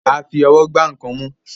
a fí Ọwọ́ gbà nkán mú